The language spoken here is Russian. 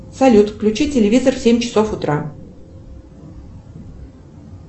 салют включи телевизор в семь часов утра